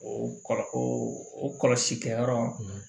O kɔlɔ o kɔlɔsili kɛyɔrɔ